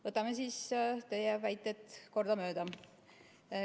Võtame siis teie väited kordamööda.